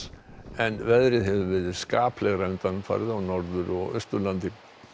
en veðrið hefur verið skaplegra undanfarið á Norður og Austurlandi